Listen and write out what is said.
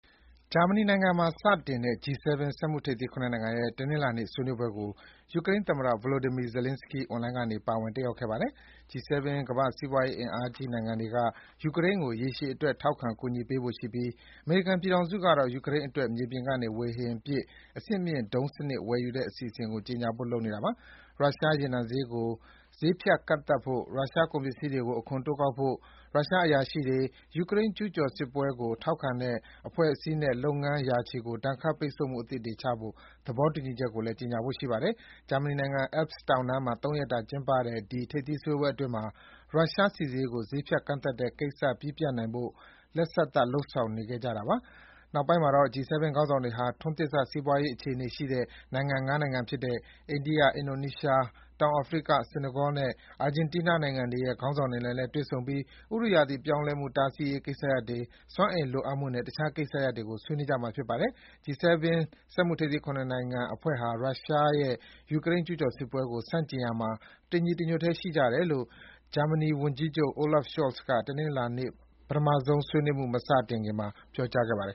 ဂျာမနီနိုင်ငံမှာ စတင်ကျင်းပနေတဲ့ G7 စက်မှုထိပ်သီး ၇ နိုင်ငံရဲ့ တနင်္လာနေ့ ဆွေးနွေးပွဲကို ယူကရိန်းသမ္မတ Volodymyr Zelenskyy အွန်လိုင်းကနေ ပါဝင်တက်ရောက်ခဲ့ပါတယ်။ G7 ကမ္ဘာ့စီးပွားရေးအင်အားကြီးနိုင်ငံတွေက ယူကရိန်းကို ရေရှည်အတွက် ထောက်ခံကူညီပေးဖို့ရှိပြီး အမေရိကန်ပြည်ထောင်စုကတော့ ယူကရိန်းနိုင်ငံအတွက် မြေပြင်ကနေ ဝေဟင်ပစ် အဆင့်မြင့်ဒုံးစနစ် ဝယ်ယူတဲ့ အစီအစဉ်ကို ကြေညာဖို့ လုပ်နေတာပါ။ ရုရှား ရေနံဈေးကို ဈေးဖြတ်ကန့်သတ်ဖို့၊ ရုရှားကုန်ပစ္စည်းတွေကို အခွန်တိုးကောက်ဖို့၊ ရုရှားအရာရှိတွေ၊ ယူကရိန်းကျူးကျော်စစ်ပွဲကို ထောက်ခံတဲ့ အဖွဲ့အစည်းနဲ့ လုပ်ငန်းရာချီကို ဒဏ်ခတ်ပိတ်ဆို့မှု အသစ်တွေချမှတ်ဖို့ သဘောတူညီချက်ကိုလည်း ကြေညာဖို့ ရှိပါတယ်။ ဂျာမနီနိုင်ငံ Alps တောင်တန်းမှာ ၃ ရက်တာ ကျင်းပတဲ့ ဒီထိပ်သီးဆွေးနွေးပွဲအတွင်းမှာ ရုရှားဆီဈေးကို ဈေးဖြတ်ကန့်သတ်တဲ့ ကိစ္စ ပြီးပြတ်နိုင်ဖို့ လက်စသတ်လုပ်ဆောင်နေခဲ့ကြတာပါ။ နောက်ပိုင်းမှာတော့ G7 ခေါင်းဆောင်တွေဟာ ထွန်းသစ်စ စီးပွားရေးအခြေအနေရှိတဲ့ နိုင်ငံ ၅ နိုင်ငံဖြစ်တဲ့ အိန္ဒိယ၊ အင်ဒိုနီးရှား၊ တောင်အာဖရိက၊ ဆီနီဂေါနဲ့ အာဂျင်တီးနား နိုင်ငံတွေရဲ့ ခေါင်းဆောင်တွေနဲ့လည်း တွေ့ဆုံပြီး ဥတုရာသီပြောင်းလဲမှု တားဆီးရေးကိစ္စရပ်တွေ၊ စွမ်းအင်လိုအပ်မှု နဲ့ တခြားကိစ္စရပ်တွေကို ဆွေးနွေးကြမှာ ဖြစ်ပါတယ်။ G7 စက်မှုထိပ်သီး နိုင်ငံ ၇ နိုင်ငံအဖွဲ့ဟာ ရုရှားရဲ့ ယူကရိန်းကျူးကျော်စစ်ပွဲကို ဆန့်ကျင်ရာမှာ တညီတညွတ်တည်း ရှိကြတယ်လို့ ဂျာမနီ ဝန်ကြီးချုပ် Olaf Scholz က တနင်္လာနေ့ ပထမဆုံး ဆွေးနွေးမှု မစတင်ခင်မှာပြောကြားသွားပါတယ်